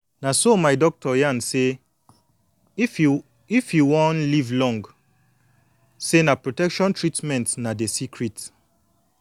na so my doctor yan say if you if you wan live long say na protection treatment na de secret